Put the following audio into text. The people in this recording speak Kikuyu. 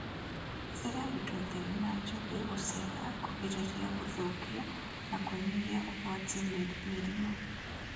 Hũthĩra indo theru na njũgĩ gũceha kũgirĩrĩria gũthũkia na kũnyihia ũgwati wa mĩrimũ